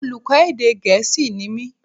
Olùkọ́ èdè gẹ̀é̩sì ni mí